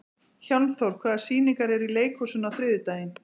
Hjálmþór, hvaða sýningar eru í leikhúsinu á þriðjudaginn?